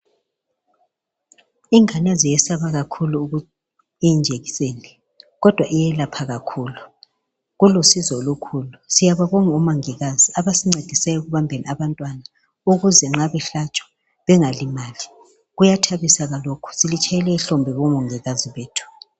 ingane ziyesaba kakhulu i jekiseni le kodwa iyelapha kakhulu kulusizo olukhulu siyababonga omongikazi abasincedisa ekubambeni abantwana ukuze nxa behlatshwa bengalimali kuyathabisa ke lokhu silitshayela ihlombe bo mongikazi bethu